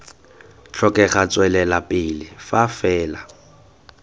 tlhokega tswelela pele fa fela